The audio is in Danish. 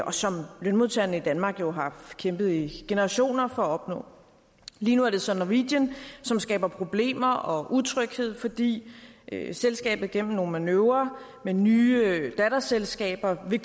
og som lønmodtagerne i danmark jo har kæmpet i generationer for at opnå lige nu er det så norwegian som skaber problemer og utryghed fordi selskabet gennem nogle manøvrer med nye datterselskaber vil